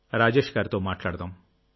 రాజేష్ గారితో మాట్లాడదాం